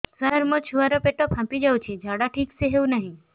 ସାର ମୋ ଛୁଆ ର ପେଟ ଫାମ୍ପି ଯାଉଛି ଝାଡା ଠିକ ସେ ହେଉନାହିଁ